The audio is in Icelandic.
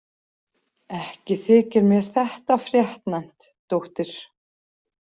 Ekki þykir mér þetta fréttnæmt, dóttir.